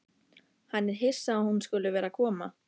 Hann er hissa að hún skuli vera að koma.